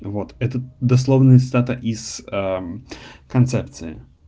вот этот дословная цитата из концепции